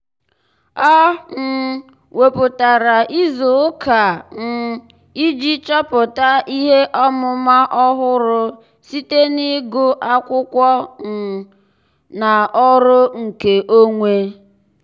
ọ́ um wèpụ̀tárà ìzù ụ́kà um iji chọ́pụ́tá ihe ọ́mụ́ma ọ́hụ́rụ́ site n’ị́gụ́ ákwụ́kwọ́ um ákwụ́kwọ́ um na ọ́rụ́ nkeonwe.